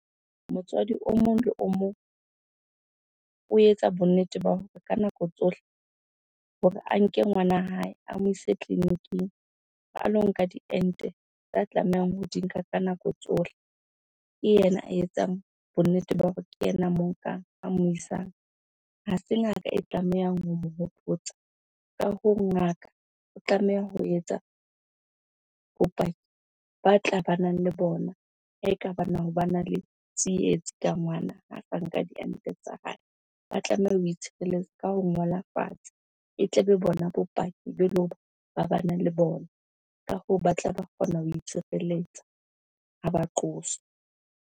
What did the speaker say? Motswadi o mong le o mong o etsa bonnete ba hore ka nako tsohle hore a nke ngwana hae, a mo ise tleliniking a lo nka diente tsa tlamehang ho di nka ka nako tsohle. Ke yena a etsang bonnete ba hore ke yena moo nkang a mo isang, ha se ngaka e tlamehang ho mo hopotsa. Ka ho ngaka o tlameha ho etsa bopaki ba tla banang le bona ha bana le tsietsi ka ngwana ha sa nka diente tsa hae. Ba tlameha ho itshireletsa ka ho ngola fatshe, e tle be bona bopaki beleng hore ba bana le bona. Ka hoo, ba tla ba kgona ho itshireletsa ha ba qoswa.